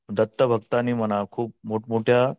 दत्त भक्तांनी म्हणा खूप मोठमोठ्या